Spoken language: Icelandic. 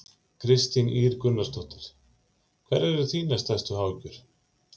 Kristín Ýr Gunnarsdóttir: Hverjar eru þínar stærstu áhyggjur?